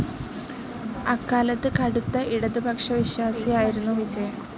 അക്കാലത്ത് കടുത്ത ഇടതുപക്ഷവിശ്വാസിയായിരുന്നു വിജയൻ.